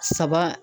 Saba